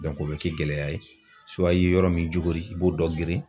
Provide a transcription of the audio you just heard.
o bɛ kɛ gɛlɛya ye i ye yɔrɔ min jogori i b'o dɔ girin.